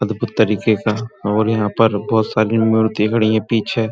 अदभुत तरीके का और यहाँ पर बोहोत सारी मूर्ति खड़ी हैं पीछे।